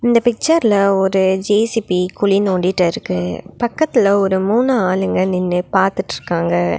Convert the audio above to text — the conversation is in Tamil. இந்த பிச்சர்ல ஒரு ஜே_சி_பி குழி நோண்டிட்டுருக்கு பக்கத்துல ஒரு மூணு ஆளுங்க நின்னு பாத்துட்ருக்காங்க.